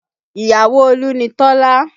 Ìyàwó Olú ni Tọ́lá